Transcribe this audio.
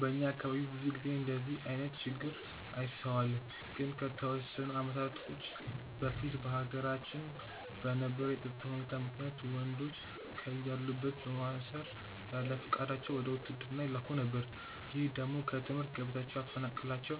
በእኛ አካባቢ ብዙ ጊዜ እንደዚህ አይነት ችግር አይስተዋልም። ግን ከተወሰኑ አመታቶች በፊት በሀገራችን በነበረው የፀጥታ ሁኔታ ምክንያት ወንዶችን ከያሉበት በማሰር ያለፍቃዳቸው ወደ ውትድርና ይላኩ ነበር። ይህ ደግሞ ከትምህርት ገበታቸው ያፈናቅላቸው